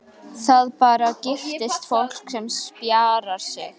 Það bara giftist fólki sem spjarar sig.